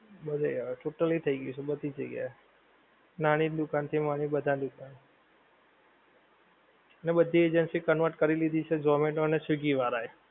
બધેય હવે totally થઈ ગ્યું છે બધીજ જગ્યા એ. નાની દુકાન થી માંડી ને બધા દુકાન. ને બધી agency convert કરી લીધી છે ઝોમેટો અને સ્વીગી વાળાં એ.